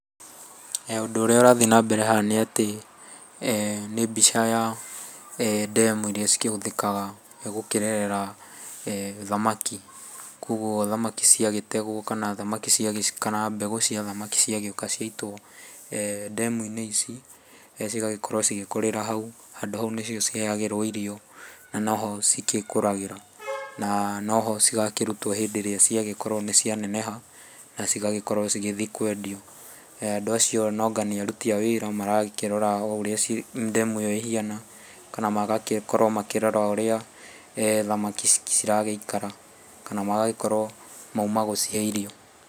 Ũndũ ũrĩa ũrathiĩ na mbere haha nĩ atĩ nĩ mbica ya ndemu iria ikĩhũthĩkaga gũkĩrerera thamaki. Koguo thamaki ciagĩtegwo kana mbegũ cia thamaki ciagĩũka ciaitwo ndemu-inĩ ici cigagĩkorwo cigĩkũrĩra hau. Handũ hau nĩho ciheyagĩrwo irio na no ho cigĩkũragĩra. Na no ho cigakĩrutwo hĩndĩ ĩrĩa cigagĩkorwo nĩcianeneha na cigagĩkorwo cigĩthiĩ kwendio. Andũ acio noanga aruti a wĩra marakĩrora ũrĩa ndemu ĩyo ĩkĩhana kana magagĩkorwo makĩrora ũrĩa thamaki ciragĩikara kana magagĩkorwo mauma gũcihe irio.